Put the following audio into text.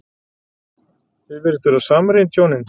Þið virðist vera samrýnd, hjónin.